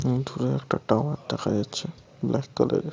এবং দূরে একটা টাওয়ার দেখা যাচ্ছে ব্ল্যাক কালার -এর।